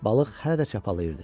Balıq hələ də çapalayırdı.